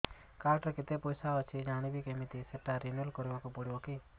card ରେ କେତେ ପଇସା ଅଛି ଜାଣିବି କିମିତି ସେଟା ରିନୁଆଲ କରିବାକୁ ପଡ଼ିବ କି